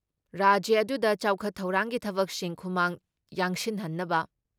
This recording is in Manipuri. ꯔꯥꯖ꯭ꯌ ꯑꯗꯨꯨꯗ ꯆꯥꯎꯈꯠ ꯊꯧꯔꯥꯡꯒꯤ ꯊꯕꯛꯁꯤꯡ ꯈꯨꯃꯥꯡ ꯌꯥꯡꯁꯤꯟꯍꯟꯅꯕ